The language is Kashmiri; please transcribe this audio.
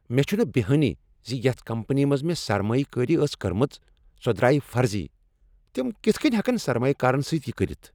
مےٚ چھنہٕ بیہانٕے ز یتھ کمپنی منز مےٚ سرمایہ کٲری ٲس کٔرمٕژ، سۄ درٛایہ فرضی۔ تم کتھ کٔنۍ ہیکن سرمایہ کارن سۭتۍ یہ کٔرتھ؟